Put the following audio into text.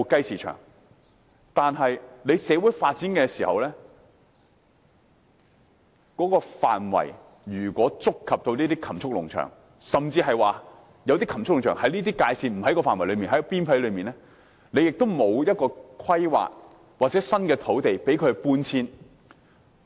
可是，在社會發展時，如果範圍觸及這些禽畜農場，又或當禽畜農場位於發展範圍邊界而不在範圍內，政府也沒有作出規劃或安排新土地讓他們搬遷。